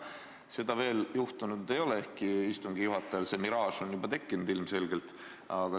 Seda veel juhtunud ei ole, ehkki istungi juhatajal selline miraaž on juba tekkinud, ilmselgelt.